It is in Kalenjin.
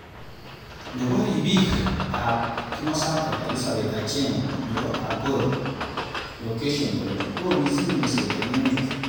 Nebo ribik ab kimosatak Elizabeth Achieng nebo Agoro location kole ooh mising nyerset eng emet.